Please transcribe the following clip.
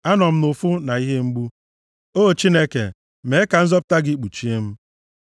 Anọ m nʼụfụ na ihe mgbu, O Chineke, mee ka nzọpụta gị kpuchie m.